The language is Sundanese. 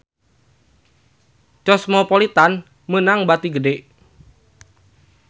Cosmopolitan meunang bati gede